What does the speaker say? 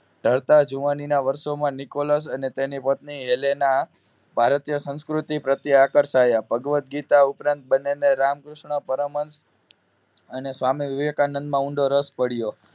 તરતા જુવાનીના વર્ષોમાં નિકોલસ અને તેની પત્ની એલેના ભારતીય સંસ્કૃતિ પ્રત્યે આકર્ષાયા ભગવદગીતા ઉપરાંત બંનેને રામકૃષ્ણ પરમહંસ અને સ્વામી વિવેકાનંદ માં ઊંડો રસ પડયો